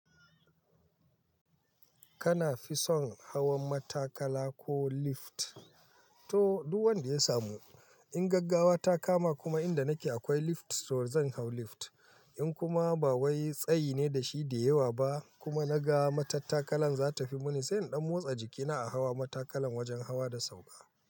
Kana fi son hawan matakala ko lift? To, duk wanda ya samu. In gaggawa ta kama kuma inda nake akwai lift, to zan hau lift. In kuma ba wai tsayi ne da shi da yawa ba kuma naga matattakalan za ta fi muni, sai in ɗan motsa jikina a hawa matakalan wajen hawa da sauka.